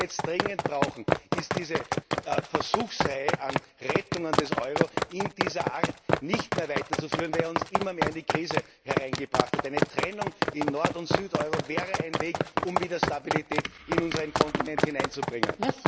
Was wir jetzt dringend brauchen, ist, diese Versuchsreihe an Rettungen des Euro in dieser Art nicht mehr weiterzuführen, weil er uns immer mehr in die Krise hereingebracht hat. Eine Trennung in Nord und Süd Euro wäre ein Weg, um wieder Stabilität in unseren Kontinent hineinzubringen.